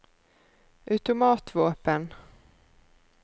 automatvåpen